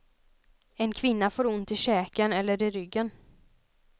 En kvinna får ont i käken eller i ryggen.